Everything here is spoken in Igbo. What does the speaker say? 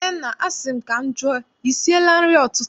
Nnenna, asị m ka m jụọ, I siela nri ụtụtụ?